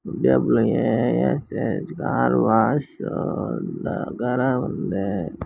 W A S H car wash ఏ ఆ దగ్గర ఉంది.